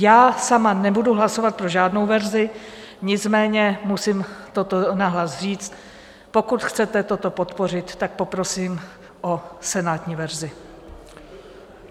Já sama nebudu hlasovat pro žádnou verzi, nicméně musím toto nahlas říct: Pokud chcete toto podpořit, tak poprosím o senátní verzi.